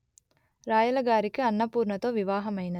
రాయలగారికి అన్నపూర్ణతో వివాహమైనది